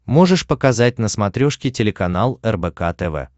можешь показать на смотрешке телеканал рбк тв